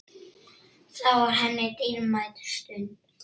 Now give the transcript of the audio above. Það var henni dýrmæt stund.